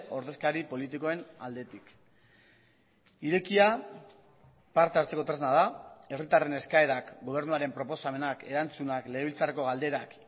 ordezkari politikoen aldetik irekia parte hartzeko tresna da herritarren eskaerak gobernuaren proposamenak erantzunak legebiltzarreko galderak